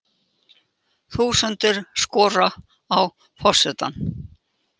Þúsundir skora á forsetann